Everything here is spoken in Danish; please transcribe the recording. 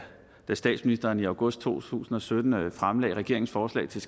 statsministeren i august to tusind og sytten fremlagde regeringens forslag til